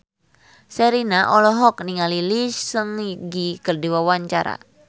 Sherina olohok ningali Lee Seung Gi keur diwawancara